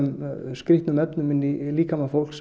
skrýtnum efnum inn í líkama fólks